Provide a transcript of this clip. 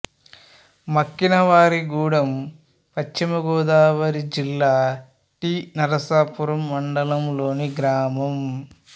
మక్కినవారిగూడెం పశ్చిమ గోదావరి జిల్లా టి నరసాపురం మండలం లోని గ్రామం